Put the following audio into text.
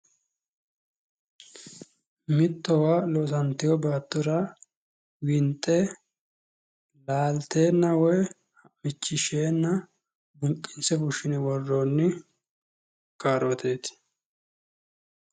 Mittowa loosantewo baattora winxe laalteenna woy ha'michishsheenna buqqinse fushshine worroonni kaarooteeti.